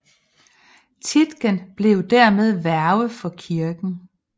Tietgen blev dermed værge for kirken